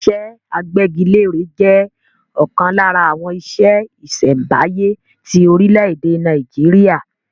Iṣẹ́ agbẹ́gilére jẹ́ ọ̀kan lára àwọn iṣẹ́ ìṣẹ̀m̀báyé ti orílẹ̀-èdè Nàìjíríà.